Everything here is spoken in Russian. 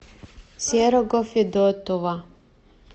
серого федотова